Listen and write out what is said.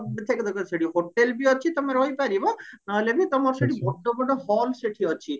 ସେଠି hotel ବି ଅଛି ତମେ ରହିପାରିବ ନହେଲେ ବି ତମର ସେଠି ବଡ ବଡ hall ସେଠି ଅଛି